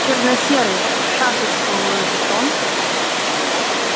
черносерый в шашечку луивуитон